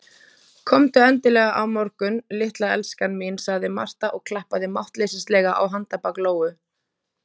Komdu endilega á morgun, litla elskan mín, sagði Marta og klappaði máttleysislega á handarbak Lóu.